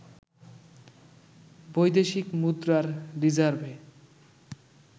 বৈদেশিক মুদ্রার রিজার্ভে